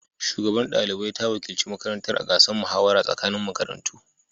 Shugabar ɗalibai ta wakilci makarantar a gasar muhawara tsakanin makarantu.